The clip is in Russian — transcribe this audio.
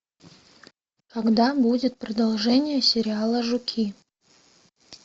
когда будет продолжение сериала жуки